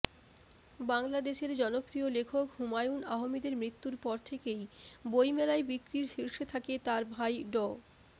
বাংলাদেশের জনপ্রিয় লেখক হুমায়ুন আহমেদের মৃত্যুর পর থেকেই বইমেলায় বিক্রির শীর্ষে থাকে তাঁর ভাই ড